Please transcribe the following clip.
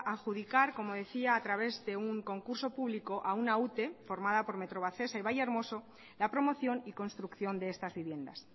adjudicar como decía a través de un concurso público a una ute formada por metrovacesa y valle hermoso la promoción y construcción de estas viviendas